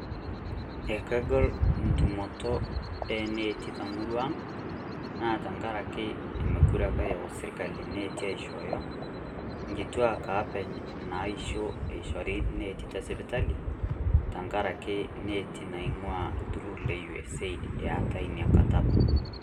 ekegol entumoto eneti temurua ang' naa tenkaraki mokure apa eyau sirkali neti aishoyo nkituak openy ishori neti tesipitali tenkaraki neti naing'ua iltururi le usaid etaii inakata apa